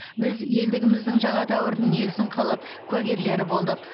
біз елдігіміздің жаңа дәуірін негізін қалап куәгерлері болдық